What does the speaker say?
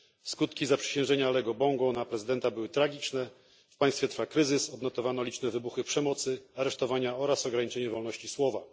Skutki zaprzysiężenia Alego Bongo na prezydenta były tragiczne w państwie trwa kryzys, odnotowano liczne wybuchy przemocy, aresztowania oraz ograniczenie wolności słowa.